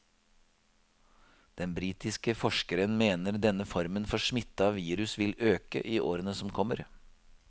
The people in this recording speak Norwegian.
Den britiske forskeren mener denne formen for smitte av virus vil øke i årene som kommer.